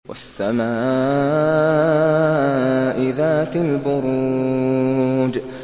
وَالسَّمَاءِ ذَاتِ الْبُرُوجِ